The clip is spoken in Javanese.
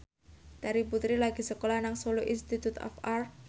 Terry Putri lagi sekolah nang Solo Institute of Art